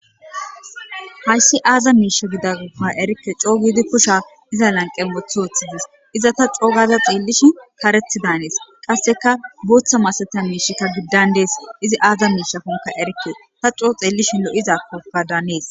hayssi aaza miisha gidanka erikke coo giidi kusha iza lanqe wothi woththidees iza ta coo gaaza xeellishi karethi daanees qasseka bootha masata miishikka giddan dees izi aaza miishafonka erikke ta coo xeellishi lo7izakoka daanees